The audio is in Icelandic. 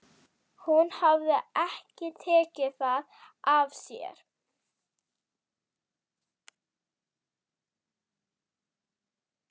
Hún hafði ekki tekið það af sér.